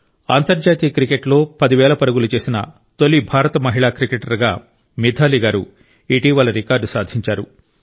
అంతర్జాతీయ క్రికెట్లో 10000 పరుగులు చేసిన తొలి భారత మహిళా క్రికెటర్గా మిథాలీ గారు ఇటీవల రికార్డు సాధించారు